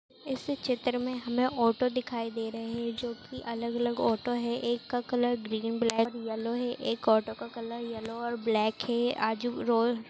इस चित्र में हमे ऑटो दिखाई दे रहे हैं जो अलग अलग ऑटो हैं एक का कलर ग्रीन ब्लैक और येलो हैं और एक ऑटो का कलर येलो और ब्लैक हैं। आजु रोल--